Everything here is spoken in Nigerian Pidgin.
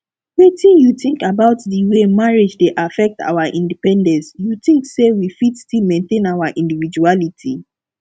wetin you think about di way marriage dey affect our independence you think say we fit still maintain our individuality